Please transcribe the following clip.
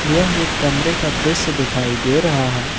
यह एक कमरे का दृश्य दिखाई दे रहा है।